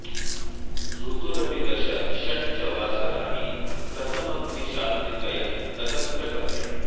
ऋतुरपि दश षट् च वासराणि प्रथमग्निशात्रितयं न तत्र गम्यम्